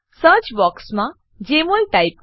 search બોક્સમાં જમોલ type કરો